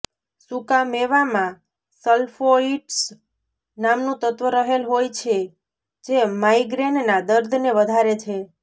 સુકા મેવામાં સ્લ્ફોઇટ્સ નામનું તત્વ રહેલ હોય છે જે માઈગ્રેનના દર્દને વધારે છે